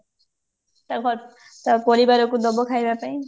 ତା ପ ତା ପରିବାରକୁ ଦବ ଖାଇବା ପାଇଁ